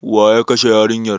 Waye ya kashe yarinyar?